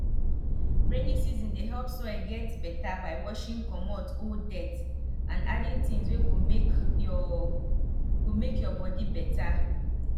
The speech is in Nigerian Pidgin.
rainy season dey help soil get beta by washing comot old dirt and adding things wey go make ur go make ur body better